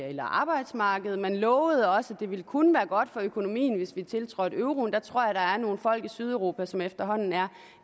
eller arbejdsmarked man lovede også at det ville kun være godt for økonomien hvis vi tiltrådte euroen jeg tror der er nogle folk i sydeuropa som efterhånden er